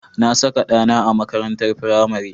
Na saka ɗana a makarantar firamare.